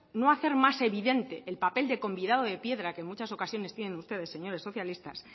no hacer más evidente que el papel de convidado de piedra que en muchas ocasiones tienen ustedes señores socialistas